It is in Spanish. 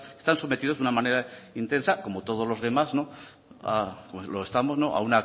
están sometidos de una manera intensa como todos los demás o lo estamos a